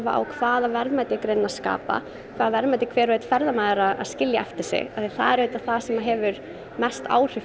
á hvaða verðmæti greinin er að skapa hvaða verðmæti er hver og einn ferðamaður að skilja eftir sig því það er það sem hefur mest áhrif